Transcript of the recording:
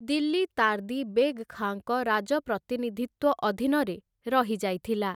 ଦିଲ୍ଲୀ ତାର୍ଦି ବେଗ୍‌ ଖାଁଙ୍କ ରାଜପ୍ରତିନିଧିତ୍ୱ ଅଧୀନରେ ରହିଯାଇଥିଲା ।